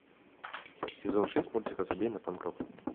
сезон шесть мультика забей на панк рок